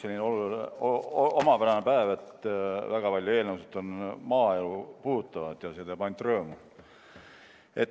Täna on üks omapärane päev, mil väga paljud eelnõud on maaelu puudutavad ja see teeb ainult rõõmu.